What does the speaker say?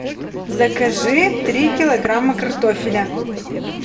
закажи три килограмма картофеля